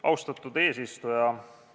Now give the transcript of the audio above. Austatud eesistuja!